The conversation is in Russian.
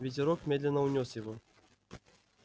ветерок медленно унёс его